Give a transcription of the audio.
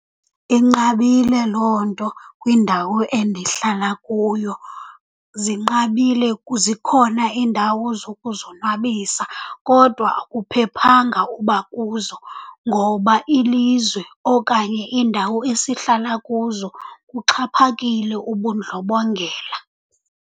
Inqabile loo nto kwindawo endihlala kuyo. Zinqabile , zikhona iindawo zokuzonwabisa kodwa akuphephanga uba kuzo ngoba ilizwe okanye iindawo esihlala kuzo kuxhaphakile ubundlobongela.